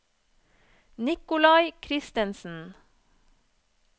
Nikolai Kristensen